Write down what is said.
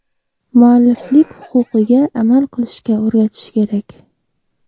Mualliflik huquqiga amal qilishga o‘rgatish kerak.